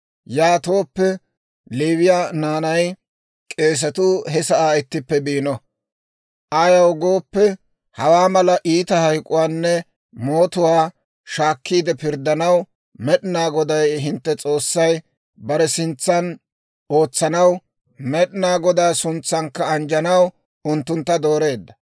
Yaatooppe Leewiyaa naanay, k'eesatuu he sa'aa ittippe biino; ayaw gooppe, hawaa mala iita hayk'uwaanne mootuwaa shaakkiide pirddanaw, Med'inaa Goday hintte S'oossay bare sintsan ootsanaw, Med'inaa Godaa suntsankka anjjanaw unttuntta dooreedda.